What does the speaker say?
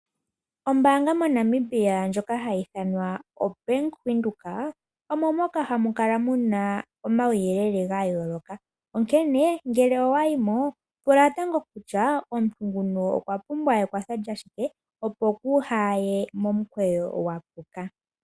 Ombaanga moNamibia ndjoka Hayii hayiithanwa o Bank Windhoek omo moka hamukala omauyelele gayooloka onkene ngele wayimo pula tango kutya Nguno okwapumbwa ekwatho lyashike opo uhaaye momukweyo gwapuka